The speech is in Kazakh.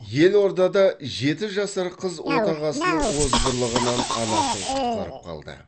елордада жеті жасар қыз отағасының озбырлығынан анасын құтқарып қалды